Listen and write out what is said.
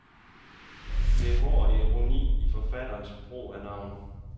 Der er hård ironi i forfatterens brug af navne.